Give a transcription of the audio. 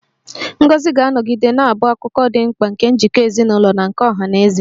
Ngọzi ga-anọgide na-abụ akụkụ dị mkpa nke njikọ ezinụlọ na nke ọha na eze